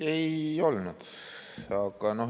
Ei olnud.